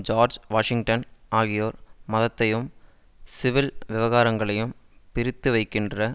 George Washington ஆகியோர் மதத்தையும் civil விவகாரங்களையும் பிரித்து வைக்கின்ற